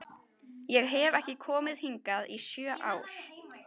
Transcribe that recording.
Ég hef ekki komið hingað í sjö ár